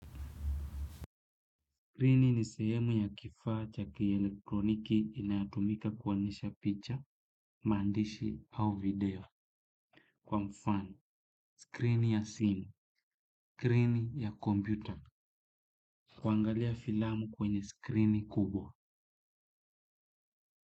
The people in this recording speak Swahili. Skrini ni sehemu ya kifaa cha kielektroniki inayotumika kuonyesha picha, maandishi au video. Kwa mfano, skrini ya simu, skrini ya computer, kuangalia filamu kwenye skrini kubwa.